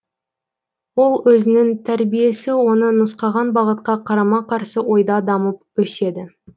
ол өзінің тәрбиесі оны нұсқаған бағытқа қарама қарсы ойда дамып өседі